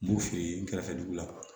N b'o f'i ye n kɛrɛfɛ dugu la